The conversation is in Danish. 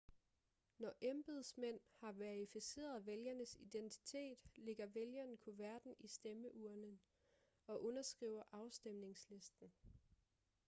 når embedsmænd har verificeret vælgerens identitet lægger vælgeren kuverten i stemmeurnen og underskriver afstemningslisten